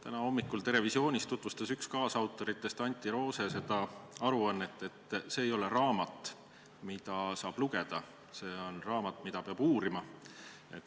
Täna hommikul "Terevisioonis" tutvustas üks kaasautoritest, Antti Roose seda aruannet nii, et see ei ole raamat, mida saab lugeda, see on raamat, mida peab uurima.